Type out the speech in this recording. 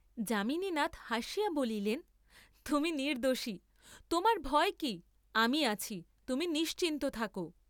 যামিনীনাথ হাসিয়া বলিলেন তুমি নির্দ্দোষী, তােমার ভয় কি, আমি আছি, তুমি নিশ্চিন্ত থাক।